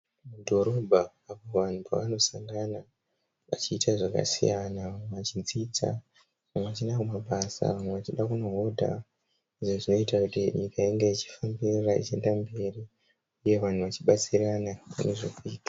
Dhorobha apo vanhu pavanosangana vachiita zvakasiyana. Vamwe vachidzidza, vamwe vachiinda kumabasa vamwe vachiinda kunohodha izvi zvinoita kuti nyika inge ichifambirira ichienda mberi uye vachibatsirana nezvekuita.